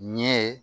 Ɲɛ